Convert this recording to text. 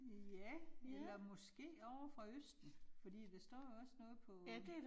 Ja. Eller måske ovre fra østen, fordi der står også noget på